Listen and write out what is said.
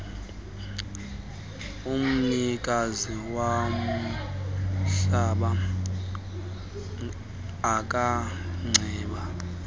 umnikazi womhlaba angacela